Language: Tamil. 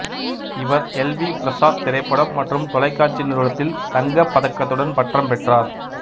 இவர் எல் வி பிரசாத் திரைப்படம் மற்றும் தொலைக்காட்சி நிறுவனத்தில் தங்கப் பதக்கத்துடன் பட்டம் பெற்றார்